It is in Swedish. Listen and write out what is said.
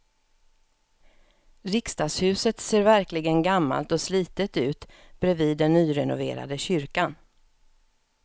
Riksdagshuset ser verkligen gammalt och slitet ut bredvid den nyrenoverade kyrkan.